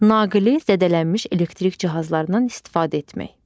Naqili zədələnmiş elektrik cihazlarından istifadə etmək.